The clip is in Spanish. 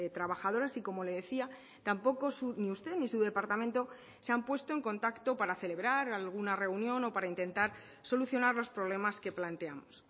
trabajadoras y como le decía tampoco ni usted ni su departamento se han puesto en contacto para celebrar alguna reunión o para intentar solucionar los problemas que planteamos